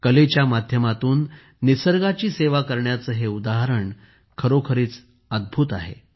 कलेच्या माध्यमातून निसर्गाची सेवा करण्याचे हे उदाहरण खरोखरीच अद्भुत आहे